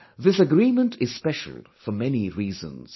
This agreement is special for many reasons